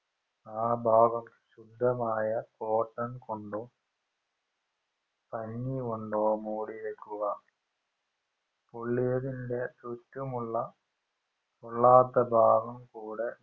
ആ ഭാഗം ശുദ്ധമായ cotton കൊണ്ടോ പഞ്ഞികൊണ്ടോ മൂടിവെക്കുക പൊള്ളിയതിന്റെ ചുറ്റുമുള്ള പൊള്ളാത്ത ഭാഗം കൂടെ